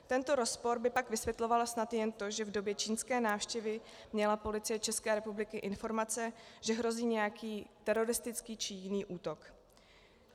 Tento rozpor by pak vysvětlovalo snad jen to, že v době čínské návštěvy měla Policie České republiky informace, že hrozí nějaký teroristický či jiný útok.